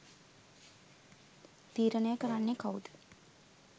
තීරණය කරන්නෙ කවුද.